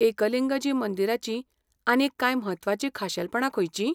एकलिंगजी मंदिराचीं आनीक कांय म्हत्वाचीं खाशेलपणां खंयचीं?